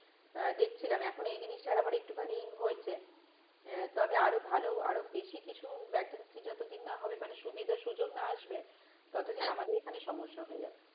আহ দেখছিলাম এখন এই জিনিসটার আবার একটুখানি হয়েছে আহ তবে আরো ভালো আরো বেশিকিছু vacancy যতদিন না হবে মানে সুবিধা সুযোগ না আসবে ততদিন আমাদের এখানে সমস্যা হয়ে যাবে।